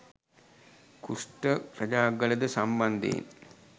කුෂ්ට රජාගලද සම්බන්ධයෙන්